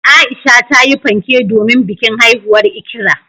Aisha tayi fanke domin bikin haihuwar Ikra.